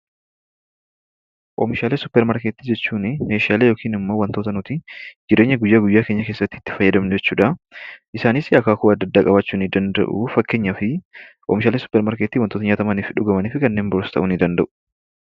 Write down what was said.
Oomishalee supper maarkettii jechuuni meeshaalee yookiin ammoo wantoota nuti jireenya guyyaa guyyaa keenya keessattii itti fayyadamnu jechuudha. Isaanis akaakuu adda addaa qabaachuu ni danda'u. Fakkeenyaafi oomishaalee supper maarkettii wantoota nyaatamaniifi dhugamanfi kanneen biroos ta'uu ni danda'u.